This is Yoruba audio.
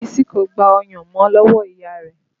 Bísí kò gba ọyàn mọ́ lọ́wọ́ ìyá rẹ̀